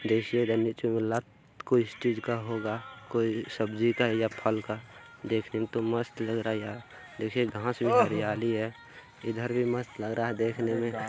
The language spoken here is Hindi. देखिए नीचे स्टेज का होगा दिख रहा हे यह सब्जी का फल का दिख रहा हे घास में हरियालि भी दिख रहा हे इधर भी मस्त लग रहा हे दिखने मे।